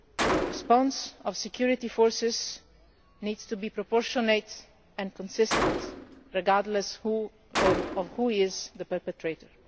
The response of security forces needs to be proportionate and consistent, regardless of who is the perpetrator.